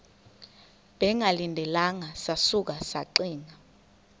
bengalindelanga sasuka saxinga